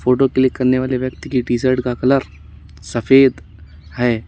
Photo click करने वाले व्यक्ति की टीशर्ट का कलर सफेद है।